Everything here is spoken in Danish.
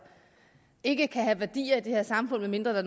ikke kan have værdier i det her samfund medmindre